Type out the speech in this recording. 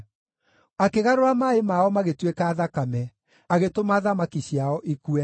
Akĩgarũra maaĩ mao magĩtuĩka thakame, agĩtũma thamaki ciao ikue.